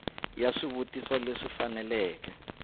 ya swivutiso leswi faneleke ku